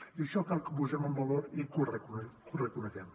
i això cal que ho posem en valor i que ho reconeguem